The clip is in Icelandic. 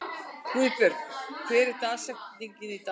Guðbjörg, hver er dagsetningin í dag?